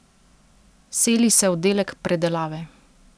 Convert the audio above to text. Seli se oddelek predelave.